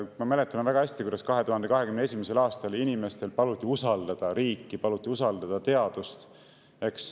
Ma mäletan väga hästi, kuidas 2021. aastal paluti inimestel usaldada riiki, paluti usaldada teadust.